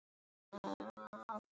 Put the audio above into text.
Hann finnur sig vel þar.